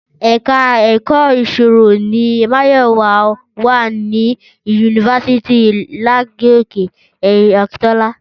Ẹ̀ka Èkó ìṣirò ni Máyọ̀wá wà ní yunifásítì Ladoke Akintola